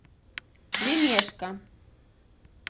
лемешко